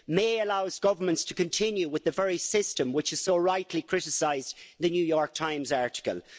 May' allows governments to continue with the very system which is so rightly criticised in The New York Times article.